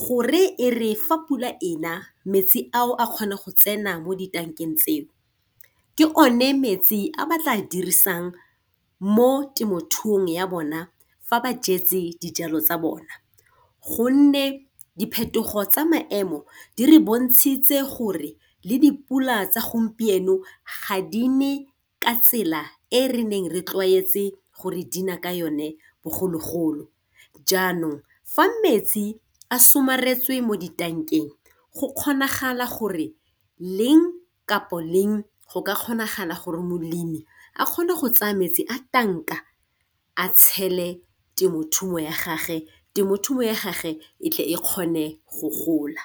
gore e re fa pula ena metsi ao a kgone go tsena mo ditankeng tseo, ke o ne metsi a batla dirisang mo temothuong ya bona fa ba jetse dijalo tsa bona. Gonne diphetogo tsa maemo di re bontshitswe gore le di pula tsa gompieno ga di ne ka tsela e re neng re tlwaetse gore di na ka yone bogologolo. Jaanong fa metsi a somaretswe mo ditankeng go kgonagala gore leng kapo leng go ka kgonagala gore molemi a kgone go tsaya metsi a tanka a tshele temothuo ya gage temothuo ya gage e tle e kgone go gola.